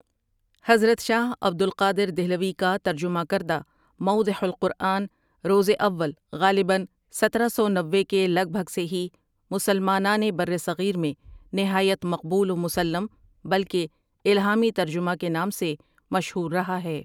حضرت شاہ عبدالقادردہلوی کا ترجمہ کردہ موضح القرآن روز اول غالباً سترہ سونوے کے لگ بھگ سے ہی مسلمانان برصغیر میں نہایت مقبول و مسلّم بلکہ الہامی ترجمہ کے نام سے مشہور رہا ہے ۔